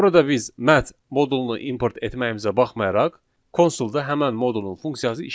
Burada biz `mat` modulunu import etməyimizə baxmayaraq, konsolda həmin modulun funksiyası işləmir.